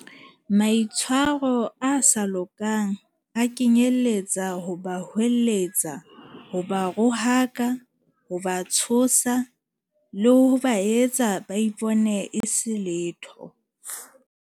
Maitshwaro a sa lokang a kenyeletsa ho ba hweletsa, ho ba rohaka, ho ba tshosa, le ho ba etsa ba ipone e se letho.